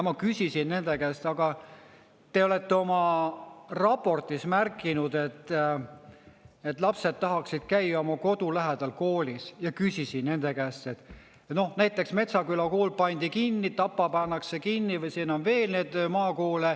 Ma küsisin nende käest: aga te olete oma raportis märkinud, et lapsed tahaksid käia oma kodu lähedal koolis, ja küsisin nende käest, et noh, näiteks Metsaküla kool pandi kinni, Tapa pannakse kinni, siin on veel neid maakoole.